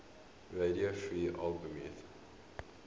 radio free albemuth